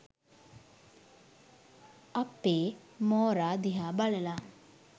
අ.පේ මෝරා දිහා බලලා